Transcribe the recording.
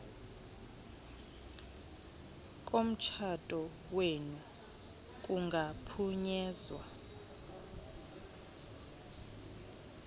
komtshato wenu kungaphunyezwa